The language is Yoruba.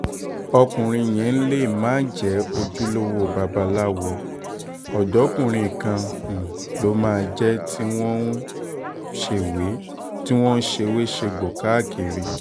ọkùnrin yẹn lè má jẹ́ ojúlówó babaláwo ọ̀dọ́kùnrin kan um ló máa jẹ́ tí wọ́n ń ṣèwé-segbò káàkiri um